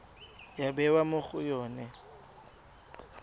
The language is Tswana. ya bewa mo go yone